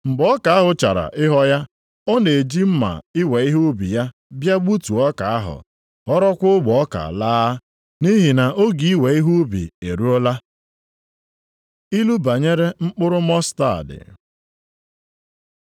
Mgbe ọka ahụ chara ịghọ ya, o na-eji mma iwe ihe ubi ya bịa gbutuo ọka ahụ, ghọrọkwa ogbe ọka laa, nʼihi na oge iwe ihe nʼubi eruola.” Ilu banyere mkpụrụ Mọstaadị